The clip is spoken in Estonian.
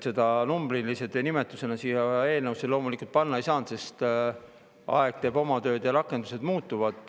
Seda numbrilise nimetusena eelnõusse loomulikult panna ei saanud, sest aeg teeb oma tööd ja rakendused muutuvad.